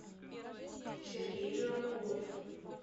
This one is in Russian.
сергей джураков